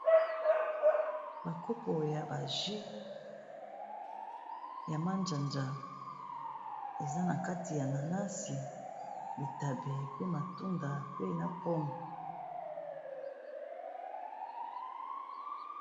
Ba kopo ya ba jus ya manjanja, eza na kati ya nanasi, bitabe, pe matunda pe na pomme.